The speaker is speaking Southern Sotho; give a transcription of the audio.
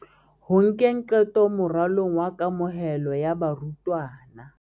Ho nkeng qeto moralong wa kamohelo ya barutwana.